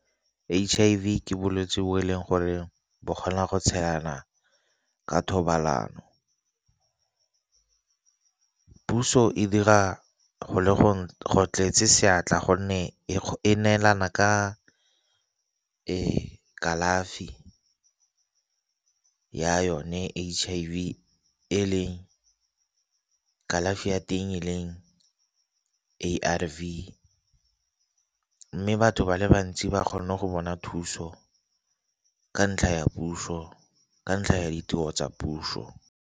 H_I_V ke bolwetse bo e leng gore bo kgona go tshelana ka thobalano, puso e dira go tletse seatla gonne e neelana ka kalafi ya yone H_I_V. E leng, kalafi ya teng e leng A_R_V. Mme batho ba le bantsi ba kgone go bona thuso ka ntlha ya puso, ka ntlha ya ditiro tsa puso